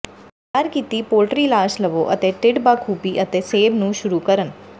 ਤਿਆਰ ਕੀਤੀ ਪੋਲਟਰੀ ਲਾਸ਼ ਲਵੋ ਅਤੇ ਢਿੱਡ ਬਾਖੂਬੀ ਅਤੇ ਸੇਬ ਨੂੰ ਸ਼ੁਰੂ ਕਰਨ